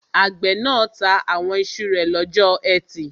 Àgbẹ̀ náà ta àwọn iṣu rẹ̀ lọ́jọ́ ẹtì